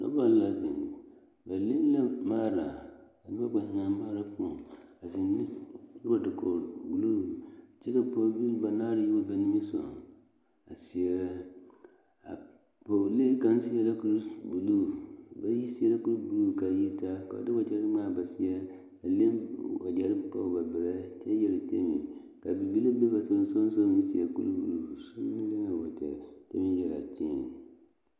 Noba la zeŋ ba leŋ la maara ka noba kpɛ zeŋ a maara poɔ ba biŋee dakoɡro buluu pɔɡibilii banaare yi wa are la ba niŋe soɡaŋ a seɛrɛ pɔɡelee kaŋ seɛrɛ la a su kparbuluu bayi seɛ la kurbuluu ka a yitaa ka ba de waɡyɛre ŋmaa ba seɛ a leŋ waɡyɛre pɔɡe ba berɛ kyɛ yeɡerekere ka bibile be ba sonsoolensoɡa a seɛ kurbuluu kyɛ meŋ yɛre ɡeese.